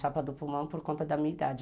Chapa do pulmão por conta da minha idade.